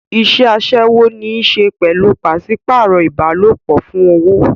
Iṣẹ́ aṣẹ́wó ní í ṣe pẹ̀lú pàṣípààrọ̀ ìbálòpọ̀ fún owó.